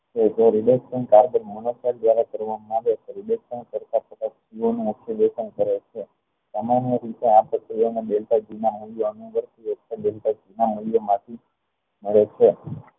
જો carbon દ્વારા કરવા માં આવે તો અક્શુલેખન કરે છે સામાન્ય રીતે આ પ્રક્રિયા માં બળતા ઘી માં મળે છે